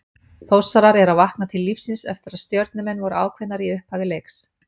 Þórsarar eru að vakna til lífsins eftir að Stjörnumenn voru ákveðnari í upphafi leiks.